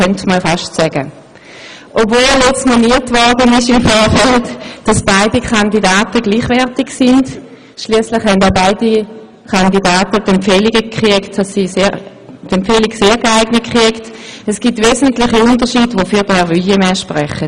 Obwohl im Vorfeld bemerkt wurde, dass beide Kandidaten gleichwertig sind – schliesslich haben auch beide von der JuKo die Empfehlung «sehr geeignet» erhalten – gibt es wesentliche Unterschiede, die für Herrn Wuillemin sprechen.